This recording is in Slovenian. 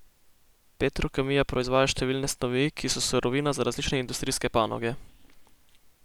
Petrokemija proizvaja številne snovi, ki so surovina za različne industrijske panoge.